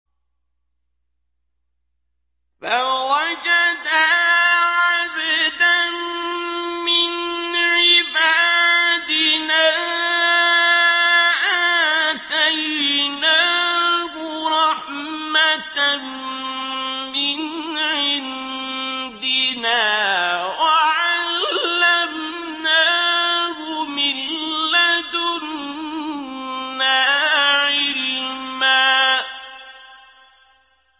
فَوَجَدَا عَبْدًا مِّنْ عِبَادِنَا آتَيْنَاهُ رَحْمَةً مِّنْ عِندِنَا وَعَلَّمْنَاهُ مِن لَّدُنَّا عِلْمًا